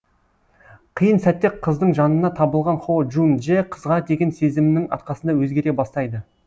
қиын сәтте қыздың жанына табылған хо джун джэ қызға деген сезімінің арқасында өзгере бастайды